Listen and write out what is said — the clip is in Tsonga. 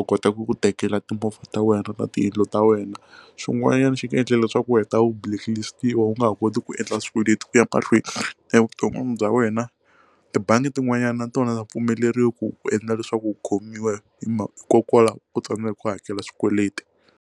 u kota ku ku tekela timovha ta wena ta tiyindlu ta wena swin'wanyana xi nga endla leswaku u heta u blacklist-iwa u nga ha koti ku endla swikweleti ku ya mahlweni evuton'wini bya wena tibangi tin'wanyani na tona ta pfumeleriwi ku ku endla leswaku u khomiwa hi hikokwalaho ku tsandzeka ku hakela swikweleti.